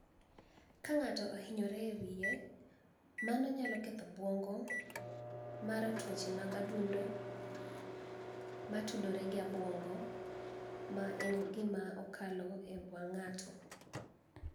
Ka nig'ato ohiniyore e wiye, mano niyalo ketho obwonigo mare tuoche mag adunido ma tudore gi obwonigo, ma eni gima okalo e wanig' nig'ato.